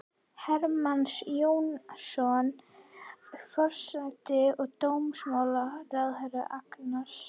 Hermanns Jónassonar, forsætis- og dómsmálaráðherra, og Agnars